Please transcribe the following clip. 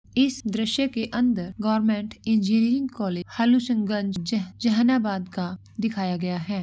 इस दृश्य के अंदर गवर्नमेंट इंजीनियरिंग कॉलेज हलूशन गंज जह जहानाबाद का दिखाया गया है।